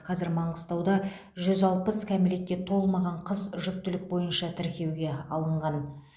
қазір маңғыстауда жүз алпыс кәмелетке толмаған қыз жүктілік бойынша тіркеуге алынған